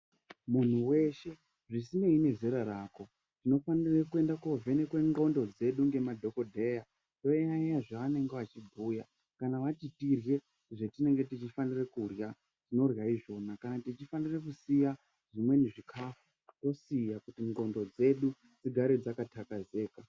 Munhu weshe zvisinei nezera rako unofanire kuende kovhenekwa ndxondo dzedu ngema dhokodheya toyayeya zvavanenge vachibhuya kana vati tirye zvetinenge tichifanira kurya tinorya izvona kana tichifanira kusiya zvimweni zvikafu tosiya kuti ndxondo dzedu dzigare dzakathakazeka.